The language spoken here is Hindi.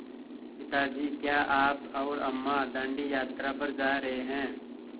पिता जी क्या आप और अम्मा दाँडी यात्रा पर जा रहे हैं